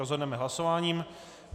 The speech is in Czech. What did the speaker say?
Rozhodneme hlasováním.